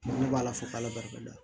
Ne b'ala fo k'ala barikada